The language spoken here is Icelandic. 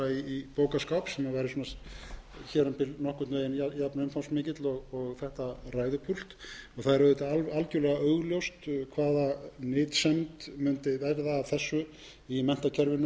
í bókaskáp sem væri svona hérumbil nokkurn veginn jafn umfangsmikill og þetta ræðupúlt það er auðvitað algjörlega augljóst hvaða nytsemd mundi verða af þessu í menntakerfinu það er nú verið